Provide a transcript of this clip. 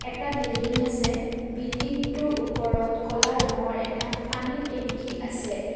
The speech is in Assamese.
এটা বিল্ডিং আছে বিল্ডিংটোৰ ওপৰত ক'লা ৰঙৰ এটা পানীৰ টেংকী আছে।